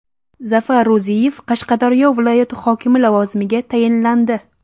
Zafar Ruziyev Qashqadaryo viloyati hokimi lavozimiga tayinlandi.